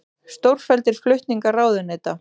Stórfelldir flutningar ráðuneyta